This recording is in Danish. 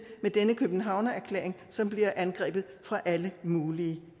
denne københavnererklæring som bliver angrebet fra alle mulige